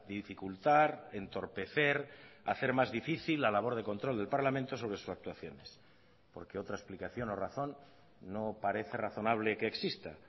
dificultar entorpecer hacer más difícil la labor de control del parlamento sobre sus actuaciones porque otra explicación o razón no parece razonable que exista